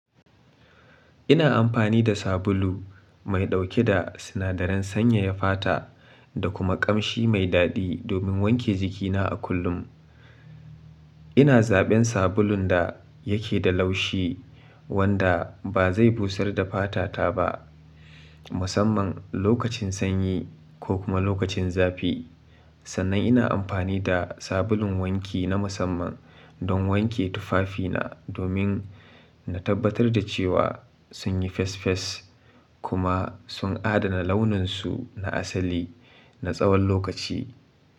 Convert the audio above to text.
Ina amfani da sabulu mai ɗauke da sinadaran sanyaya fata da kuma ƙamshi mai daɗi domin wanke jikina a kullum. Ina zaɓen sabulun da yake da laushi wanda ba zai busar da fatata ba, musamman lokacin sanyi ko kuma lokacin zafi. Sannan ina amfani da sabulun wanki na musamman don wanke tufafina domin na tabbatar da cewa sun yi fes-fes kuma sun adana launinsu na asali na tsawon lokaci.